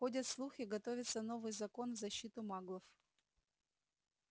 ходят слухи готовится новый закон в защиту маглов